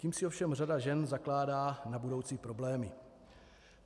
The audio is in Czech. Tím si ovšem řada žen zakládá na budoucí problémy.